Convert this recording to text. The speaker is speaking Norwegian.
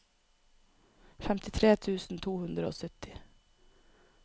femtitre tusen to hundre og sytti